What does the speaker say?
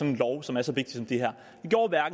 en lov som er så vigtig som den her